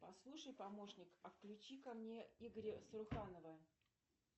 послушай помощник а включи ка мне игоря саруханова